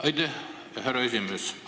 Aitäh, härra esimees!